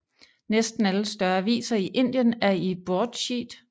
Næsten alle større aviser i Indien er i broadsheet